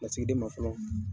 Lasigiden ma fɔlɔ.